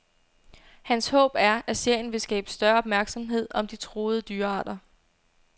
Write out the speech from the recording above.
Hans håb er, at serien vil skabe større opmærksomhed om de truede dyrearter.